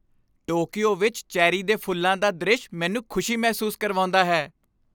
Tokyo ਵਿੱਚ cherry ਦੇ ਫੁੱਲਾਂ ਦਾ ਦ੍ਰਿਸ਼ ਮੈਨੂੰ ਖੁਸ਼ੀ ਮਹਿਸੂਸ ਕਰਵਾਉਂਦਾ ਹੈ।